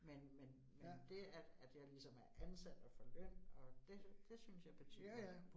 Men men men det, at at jeg ligesom er ansat og får løn, og det det synes jeg betyder noget